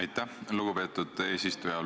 Aitäh, lugupeetud eesistuja!